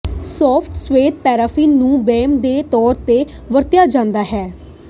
soft ਸਫੈਦ paraffin ਨੂੰ base ਦੇ ਤੌਰ ਤੇ ਵਰਤਿਆ ਜਾਂਦਾ ਹੈ